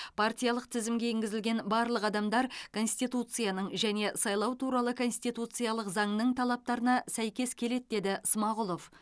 партиялық тізімге енгізілген барлық адамдар конституцияның және сайлау туралы конституциялық заңның талаптарына сәйкес келеді деді смағұлов